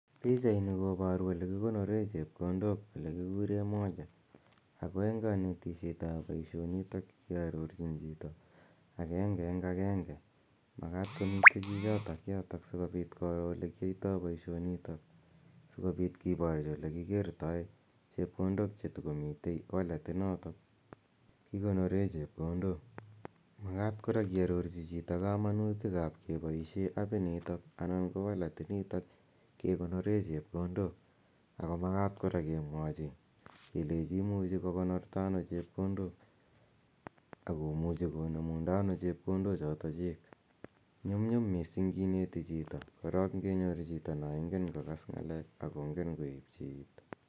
Pichaini koboru olekikonore chepkondok ole kikure moja, ako eng kanetisietab boisionito kearorchin chito akenge eng akenge, makat komite chichoto yotok si kobit koro olekiyoitoi boisionitok sikobit kiborchi ole kikertoi chepkondok che takomitei waletinoto kikonore chepkondok. Makat kora kiarorchi chito kamanutikab keboisie appinito anan ko waletinito kekonore chepkondok, ako makat kora kemwochi kelechi imuchi kokonorta ano chepkondok, ako komuchi konemundo ano chepkondo choto chik, nyumnyum mising kineti chito korok ngenyor chito no ingen kokas ngalek ak kongen koepchi iit.